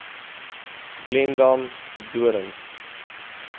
glendam de doorns